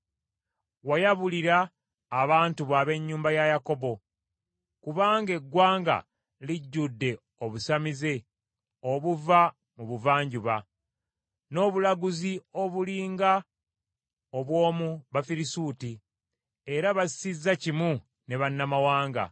Wayabulira abantu bo ab’ennyumba ya Yakobo, kubanga eggwanga lijjudde obusamize obuva mu buvanjuba, n’obulaguzi obuli nga obw’omu Bafirisuuti, era basizza kimu ne bannamawanga.